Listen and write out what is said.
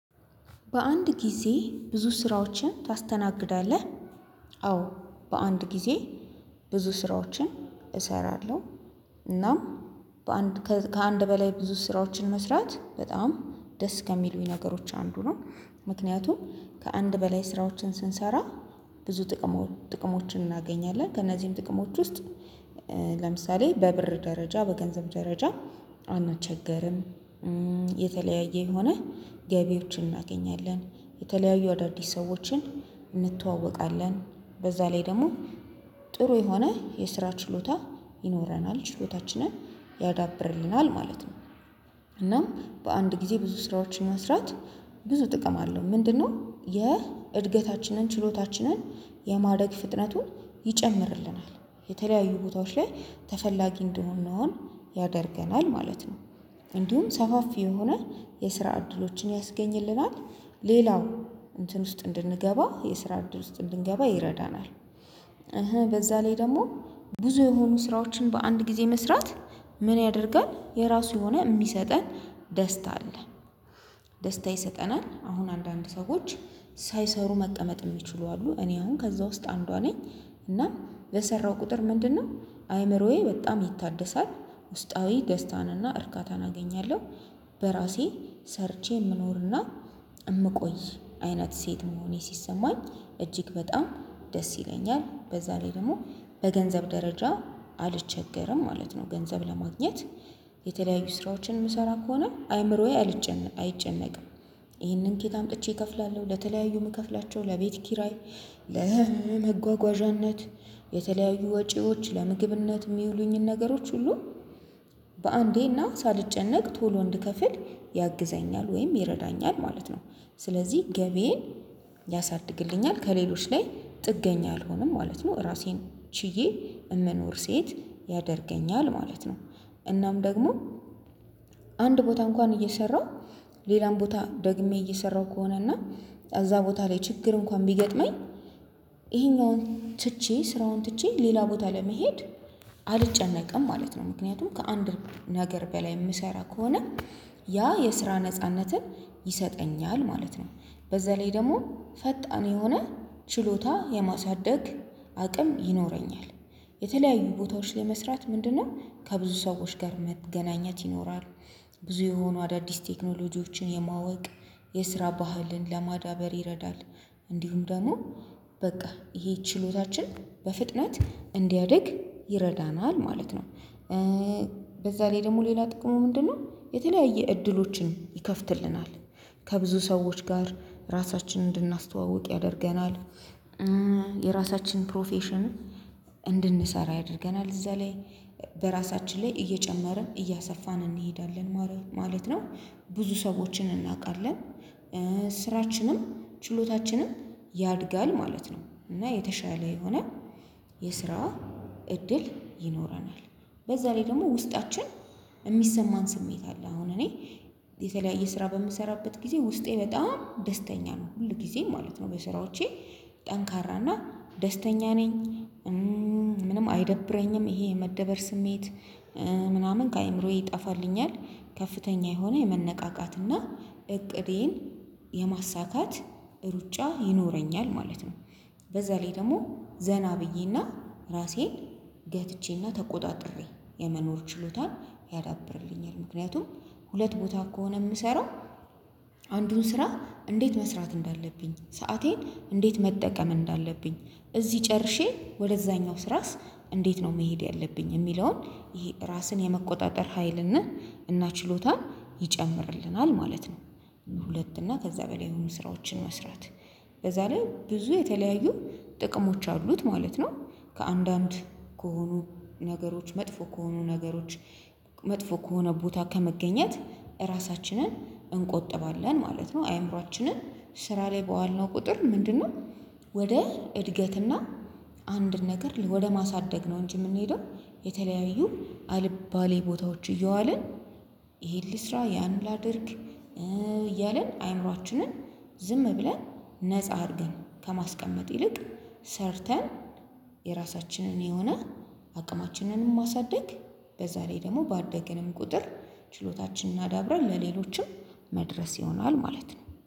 በአንድ ጊዜ ብዙ ስራዎችን ታስተናግዳለህ? አዎ በአንድ ጊዜ ብዙ ስራዎችን እሰራለሁ እናም በአንድ ከአንድ በላይ ብዙ ስራዎችን መስራት በጣም ደስ ከሚሉኝ ነገሮች አንዱ ነው። ምክንያቱም ከአንድ በላይ ስራዎችን ስንሰራ ብዙ ጥቅሞችን እናገኛለን ከእነዚህም ጥቅሞች ውስጥ ለምሳሌ በብር ደረጃ በገንዘብ ደረጃ አንቸገርም። የተለያየ የሆነ ገቢዎችን እናገኛለን የተለያዩ አዳዲስ ሰዎችን እንተዋወቃለን በዛ ላይ ደግሞ ጥሩ የሆነ የስራ ችሎታ ይኖረናል ችሎታችንን ያዳብርልናል ማለት ነው። እናም በአንድ ጊዜ ብዙ ስራዎችን መስራት ብዙ ጥቅም አለው። ምንድነው የእድገታችንን ችሎታችንን የማደግ ፍጥነቱን ይጨምርልናል። የተለያዩ ቦታዎች ላይ ተፈላጊ እንድንሆን ያደርገናል ማለት ነው። እንዲሁም ሰፋፊ የሆነ የስራ እድሎችን ያስገኝልናል። ሌላው እንትን ውስጥ እንድንገባ የስራ እድል ውስጥ እንድንገባ ይረዳናል። እህ በዛ ላይ ደግሞ ብዙ የሆኑ ስራዎችን በአንድ ጊዜ መስራት ምን ያደርጋል የራሱ የሆነ የሚሰጠን ደስታ አለ። ደስታ ይሰጠናል አሁን አንዳንድ ሰዎች ሳይሰሩ መቀመጥ የሚችሉ አሉ እኔ አሁን ከዛ ውስጥ አንዷ ነኝ። እና በሰራው ቁጥር ምንድነው አይምሮዬ በጣም ይታደሳል ውስጣዊ ገዝታንና እርካታን አገኛለሁ። በራሴ ሰርቼ የምኖርና የምቆይ አይነት ሴት መሆኔ ሲሰማኝ እጅግ በጣም ደስ ይለኛል። በዛ ላይ ደግሞ በገንዘብ ደረጃ አልቸገርም ማለት ነው። ገንዘብ ለማግኘት የተለያዩ ስራዎችን የምሰራ ከሆነ አይምሮዬ አልጨነቅም አይጨነቅም። ይህንን ከየት አምጥቼ እከፍላለሁ ለተለያዩ የምከፍላቸው ለቤት ኪራይ ለመጓጓዣነት የተለያዩ ወጪዎች ለምግብነት የሚውሉኝን ነገሮች ሁሉ በአንዴና ሳልጨነቅ ቶሎ እንድከፍል ያግዘኛል ወይም ይረዳኛል ማለት ነው። ስለዚህ ገቢዬን ያሳድግልኛል ከሌሎች ላይ ጥገኛ አልሆንም ማለት ነው ራሴን ችዬ የምኖር ሴት ያደርገኛል ማለት ነው። እናም ደግሞ አንድ ቦታ እንኳን እየሰራሁ ሌላም ቦታ ደግሜ እየሰራሁ ከሆነ እና እዛ ቦታ ላይ ችግር እንኳን ቢገጥመኝ ይሄኛውን ትቼ ስራውን ትቼ ሌላ ቦታ ለመሄድ አልጨነቅም ማለት ነው። ምክንያቱም ከአንድ ነገር በላይ የምሰራ ከሆነ ያ የስራ ነጻነትን ይሰጠኛል ማለት ነው። በዛ ላይ ደግሞ ፈጣን የሆነ ችሎታ የማሳደግ አቅም ይኖረኛል። የተለያዩ ቦታዎች ለመስራት ምንድነው ከብዙ ሰዎች ጋር መገናኘት ይኖራል። ብዙ የሆኑ አዳዲስ ቴክኖሎጂዎችን የማወቅ የስራ ባህልን ለማዳበር ይረዳል። እንዲሁም ደግሞ በቃ ይሄ ችሎታችን በፍጥነት እንዲያድግ ይረዳናል ማለት ነው። በዛ ላይ ደግሞ ሌላ ጥቅሙ ምንድነው? የተለያየ እድሎችን ይከፍትልናል። ከብዙ ሰዎች ጋር ራሳችንን እንድናስተዋውቅ ያደርገናል። የራሳችን ፕሮፌሽን እንድንሰራ ያደርገናል እዛ ላይ በራሳችን ላይ እየጨመርን እያሰፋን እንሄዳለን ማለት ነው። ብዙ ሰዎችን እናውቃለን። ስራችንም ችሎታችንም ያድጋል ማለት ነው። እና የተሻለ የሆነ የስራ እድል ይኖረናል። በዛ ላይ ደግሞ ውስጣችን የሚሰማን ስሜት አለ አሁን እኔ የተለያየ ስራ በምሰራበት ጊዜ ውስጤ በጣም ደስተኛ ነው ሁል ጊዜ ማለት ነው። በስራዎቼ ጠንካራና ደስተኛ ነኝ። ምንም አይደብረኝም ይሄ የመደበር ስሜት ምናምን ከአእምሮዬ ይጠፋልኛል። ከፍተኛ የሆነ የመነቃቃትና እቅዴን የማሳካት ሩጫ ይኖረኛል ማለት ነው። በዛ ላይ ደግሞ ዘና ብዬና ራሴን ገትቼና ተቆጣጥሬ የመኖር ችሎታን ያዳብርልኛል። ምክንያቱም ሁለት ቦታ ከሆነ የምሰራው አንዱን ስራ እንዴት መስራት እንዳለብኝ ሰአቴን እንዴት መጠቀም እንዳለብኝ እዚህ ጨርሼ ወደዛኛው ስራስ እንዴት ነው መሄድ ያለብኝ የሚለውን ይሄ ራስን የመቆጣጠር ሀይልና እና ችሎታን ይጨምርልናል ማለት ነው። ሁለት እና ከዛ በላይ የሆኑ ስራዎችን መስራት በዛ ላይ ብዙ የተለያዩ ጥቅሞች አሉት ማለት ነው። ከአንዳንድ ከሆኑ ነገሮች መጥፎ ከሆኑ ነገሮች መጥፎ ከሆነ ቦታ ከመገኘት ራሳችንን እንቆጥባለን ማለት ነው። አይምሮአችንን ስራ ላይ በዋልነው ቁጥር ምንድነው? ወደ እድገትና አንድን ነገር ወደ ማሳደግ ነው እንጂ የምንሄደው። የተለያዩ አልባሌ ቦታዎች እየዋልን ይሄን ልስራ ያን ላድርግ እያልን አይምሮአችንን ዝም ብለን ነፃ አድርገን ከማስቀመጥ ይልቅ ሰርተን የራሳችንን የሆነ አቅማችንንም ማሳደግ በዛ ላይ ደግሞ ባደገንም ቁጥር ችሎታችንን አዳብረን ለሌሎችም መድረስ ይሆናል ማለት ነው።